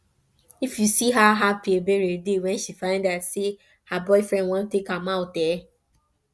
if you see how happy ebere dey when she find out say her boyfriend wan take am out eh